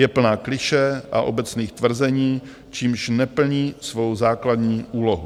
Je plná klišé a obecných tvrzení, čímž neplní svou základní úlohu.